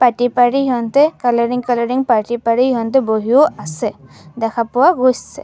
পাটি পাৰি সিঁহতে কালাৰিং কালাৰিং পাটি পাৰি সিঁহতে বহিও আছে দেখা পোৱা গৈছে।